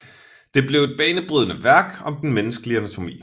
Det blev et banebrydende værk om den menneskelige anatomi